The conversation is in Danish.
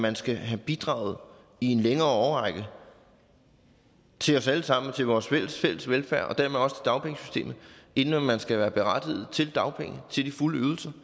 man skal have bidraget i en længere årrække til os alle sammen og til vores fælles fælles velfærd og dermed også til dagpengesystemet inden man skal være berettiget til dagpenge til de fulde ydelser